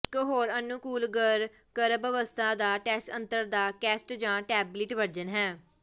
ਇੱਕ ਹੋਰ ਅਨੁਕੂਲ ਘਰ ਗਰਭ ਅਵਸਥਾ ਦਾ ਟੈਸਟ ਯੰਤਰ ਦਾ ਕੈਸੇਟ ਜਾਂ ਟੈਬਲਿਟ ਵਰਜਨ ਹੈ